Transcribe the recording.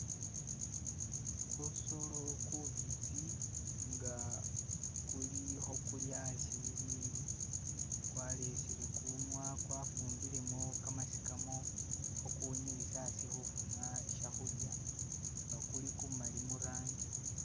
Kusolo kubitsi nga kuli hokulya asi bibindu, kwaleyesele kunwa, kwafumilemu kamasikamo hokuwunyilisa asi hufuna shya hulya nga kuli kumali murangi